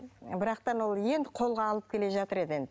бірақ та ана ол енді қолға алып келе жатыр еді енді